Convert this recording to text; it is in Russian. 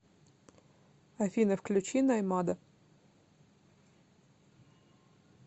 афина включи наймада